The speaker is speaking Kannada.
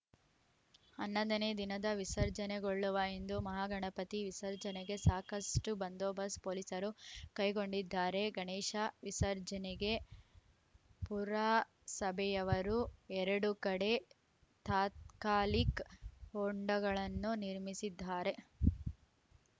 ಹನ್ನೊಂದ ನೇ ದಿನ ವಿಸರ್ಜನೆಗೊಳ್ಳುವ ಹಿಂದೂ ಮಹಾಗಣಪತಿ ವಿಸರ್ಜನೆಗೆ ಸಾಕಷ್ಟುಬಂದೋಸ್‌್ತ ಪೋಲೀಸರು ಕೈಗೊಂಡಿದ್ದಾರೆ ಗಣೇಶ ವಿಸರ್ಜನೆಗೆ ಪುರಸಭೆಯವರು ಎರಡು ಕಡೆ ತಾತ್ಕಾಲಿಕ್ ಹೊಂಡಗಳನ್ನು ನಿರ್ಮಿಸಿದ್ದಾರೆ